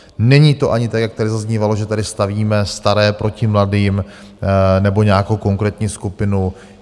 Není to ani tak, jak tady zaznívalo, že tady stavíme staré proti mladým nebo nějakou konkrétní skupinu.